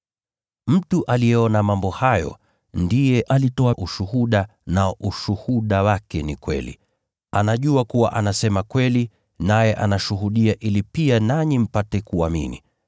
Mtu aliyeona mambo hayo ndiye alitoa ushuhuda, nao ushuhuda wake ni kweli. Anajua kuwa anasema kweli, naye anashuhudia ili pia nanyi mpate kuamini.